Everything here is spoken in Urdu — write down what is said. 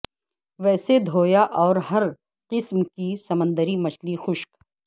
ویسے دھویا اور ہر قسم کی سمندری مچھلی خشک